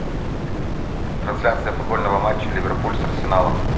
трансляция футбольного матча ливерпуль с арсеналом